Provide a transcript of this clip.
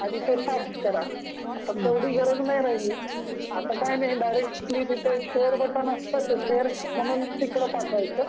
ते फ्याक्स कराआता तेवढी गरज नाही राहिली.आता डायरेक्टली तिथे शेअर म्हणून असत तिथे शेअर म्हणून पठवायच